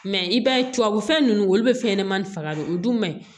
Mɛ i b'a ye tubabufɛn ninnu olu bɛ fɛn ɲɛnɛmani faga de o dun man ɲi